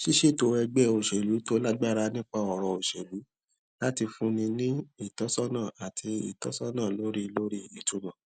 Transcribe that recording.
ṣíṣètò ẹgbẹ òṣèlú tó lágbára nípa ọrọ òṣèlú láti fúnni ní ìtósónà àti ìtósónà lórí lórí ìtumọ